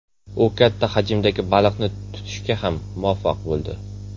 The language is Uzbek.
U katta hajmdagi baliqni tutishga ham muvaffaq bo‘ldi.